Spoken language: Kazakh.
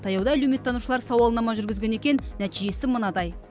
таяуда әлеуметтанушылар сауалнама жүргізген екен нәтижесі мынадай